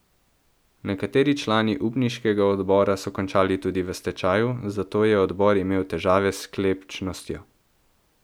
Nekateri člani upniškega odbora so končali tudi v stečaju, zato je odbor imel težave s sklepčnostjo.